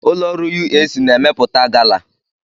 Ụlọ ọrụ UAC na-emepụta gala.